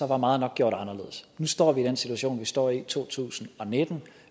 var meget nok gjort anderledes nu står vi i den situation vi står i to tusind og nitten